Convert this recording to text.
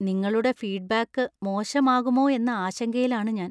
നിങ്ങളുടെ ഫീഡ്ബാക്ക് മോശമാകുമോ എന്ന ആശങ്കയിലാണ് ഞാന്‍.